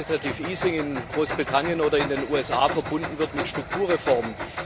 das in Großbritannien oder in den USA verbunden wird mit Strukturreformen.